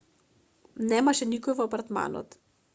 немаше никој во апартманот